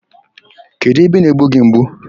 Kedụ ebe na-egbu gị mgbu?